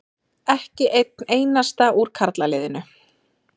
Ekki einn einasta úr karlaliðinu.